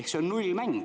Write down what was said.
Ehk see on nullmäng.